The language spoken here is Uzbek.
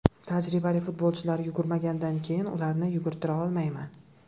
Tajribali futbolchilar yugurmagandan keyin ularni yugurtira olmayman.